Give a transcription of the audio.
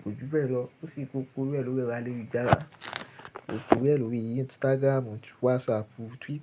kojú bẹ̀ lọ. Ó sì kó kúrò ẹ lórí ọra lórí garà. Ó kúru ẹ lórí i Instagram, WhatsApp, Twitter.